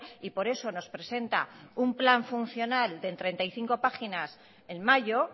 y por eso nos presenta un plan funcional de treinta y cinco páginas en mayo